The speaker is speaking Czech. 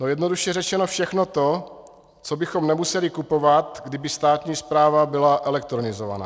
No jednoduše řečeno všechno to, co bychom nemuseli kupovat, kdyby státní správa byla elektronizována.